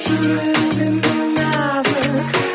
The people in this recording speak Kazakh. жүрегің сенің нәзік